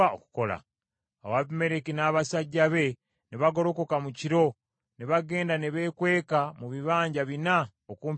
Awo Abimereki n’abasajja be ne bagolokoka mu kiro ne bagenda ne beekweka mu bibanja bina okumpi n’e Sekemu.